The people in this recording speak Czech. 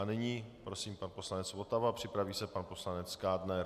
A nyní prosím pan poslanec Votava, připraví se pan poslanec Kádner.